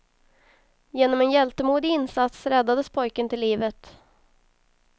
Genom en hjältemodig insats räddades pojken till livet.